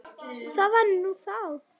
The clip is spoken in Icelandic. Það var nú þá.